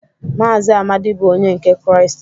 Mazị Amadi bụ onye nke Kraịst.